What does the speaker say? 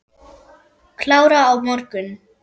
Klára á morgun.